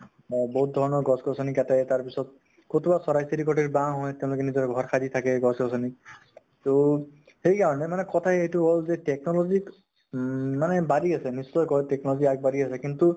বা বহুত ধৰণৰ গছ গছনি কাটে, তাৰপিছত চৰাই চিৰিকটি বাহ হয় , তেওঁলোকে নিজৰ ঘৰ সাজি থাকে, সেই গছ গছনি ত । তʼ সেইকাৰণে মানে কথা এইটো হʼল যে technology উম মানে বাঢ়ি আছে , নিশ্চয় কৈ technology আগ বাঢ়ি আছে, কিন্তু